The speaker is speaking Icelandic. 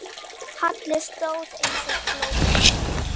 Halli stóð eins og glópur.